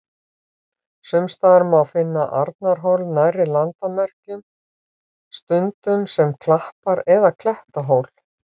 Sums staðar má finna Arnarhól nærri landamerkjum, stundum sem klappar- eða klettahól.